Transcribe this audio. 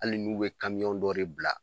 Hali n'u bɛ dɔ de bila